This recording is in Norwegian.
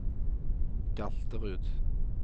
Galterud